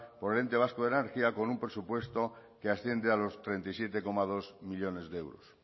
por el ente vasco de la energía con un presupuesto que asciende a los treinta y siete coma dos millónes de euros